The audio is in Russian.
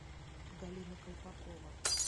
галина колпакова